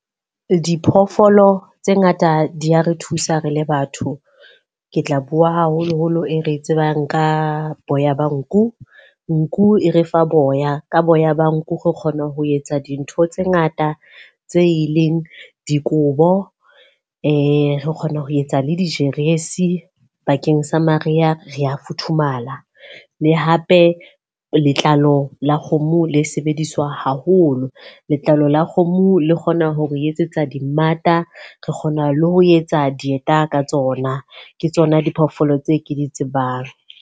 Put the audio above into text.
Diphoofolo tse ngata di ya re thusa re le batho. Ke tla bua haholoholo e re tsebang ka boya ba nku. Nku e re fa boya. Ka boya ba nku re kgona ho etsa dintho tse ngata tse ileng dikobo, e re kgona ho etsa le dijeresi bakeng sa mariha, re a futhumala. Le hape letlalo la kgomo le sebediswa haholo. Letlalo la kgomo le kgona ho re etsetsa dimmata, re kgona le ho etsa dieta ka tsona. Ke tsona diphoofolo tse ke di tsebang.